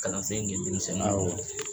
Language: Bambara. Kalansen kɛ denmisɛnninw kun na.